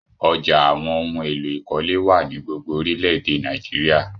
Ọ̀já awọn ohun èlò ìkọ́lé wa ni gbogbo orílẹ̀-èdè Nàìjíríà.